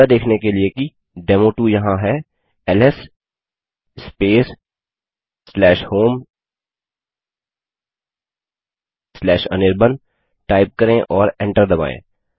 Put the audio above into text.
यह देखने के लिए कि डेमो2 यहाँ है एलएस स्पेस homeanirban टाइप करें और एंटर दबायें